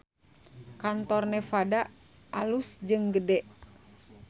Kantor Nevada alus jeung gede